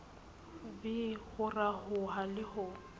v ho rafoha le ho